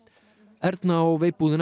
Erna á